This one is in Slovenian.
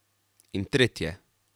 In tretje.